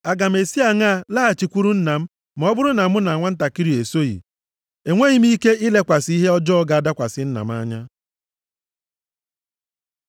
Aga m esi aṅaa laghachikwuru nna m ma ọ bụrụ na mụ na nwantakịrị a esoghị? Enweghị m ike ilekwasị ihe ọjọọ ga-adakwasị nna m anya.”